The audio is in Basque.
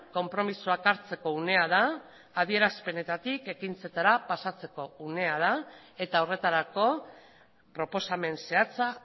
konpromisoak hartzeko unea da adierazpenetatik ekintzetara pasatzeko unea da eta horretarako proposamen zehatza